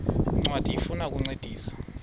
ncwadi ifuna ukukuncedisa